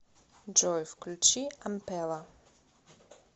джой включи ампела